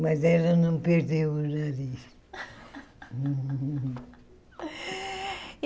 Mas ela não perdeu o nariz.